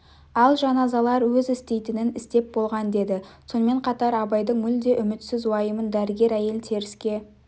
ал жаназалар өз істейтінін істеп болған деді сонымен қатар абайдың мүлде үмітсіз уайымын дәрігер әйел теріске